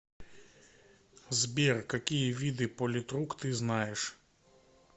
сбер какие виды политрук ты знаешь